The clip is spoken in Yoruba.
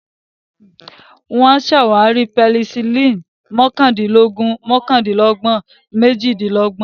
Wọ́n ṣàwárí Penicillin ní mọ́kàndínlógún mọ́kàndínlọ́gbọ̀n méjìdínlọ́gbọ̀n.